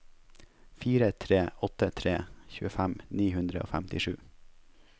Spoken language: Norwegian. fire tre åtte tre tjuefem ni hundre og femtisju